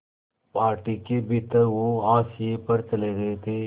party के भीतर वो हाशिए पर चले गए थे